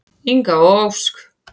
Inga og Ósk.